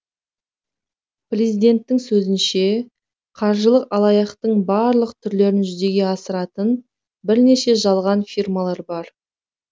президенттің сөзінше қаржылық алаяқтықтың барлық түрлерін жүзеге асыратын бірнеше жалған фирмалар бар